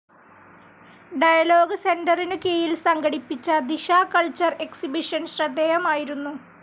dialogue സെൻ്ററിനു കീഴിൽ സംഘടിപ്പിച്ച ദിശ കൾച്ചറൽ എക്സിബിഷൻ ശ്രദ്ധേയമായിരുന്നു